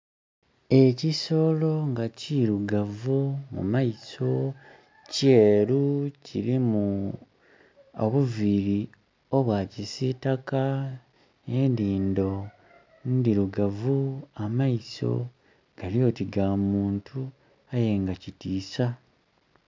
Ekisolo nga kirugavu, mu maiso kyeru, kilimu obuviri obwa kisitaka, enhindo ndhirugavu, amaiso gali oti ga muntu aye nga kitiisa.